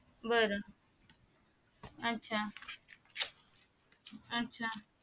बर अच्चाअच्चा